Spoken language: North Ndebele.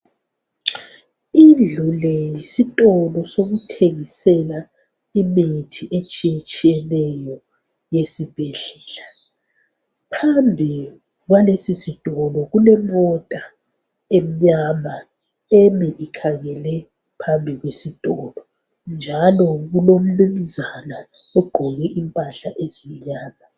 Indlu le yisitolo sokuthengisela imithi etshiyetshiyeneyo yesibhedlela. Phambi kwalesi sitolo kulemota emnyama emi ikhangele phambi kwesitolo, njalo kulomnumnzana ogqoke impahla ezimnyama.